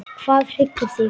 Hvað hryggir þig?